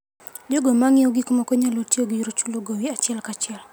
Jogo ma ng'iewo gik moko nyalo tiyo gi yor chulo gowi achiel kachiel.